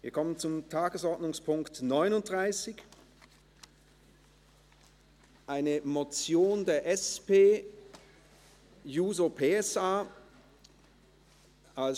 Wir kommen zu Tagesordnungspunkt 39, einer Motion der SP-JUSO-PSA-Fraktion.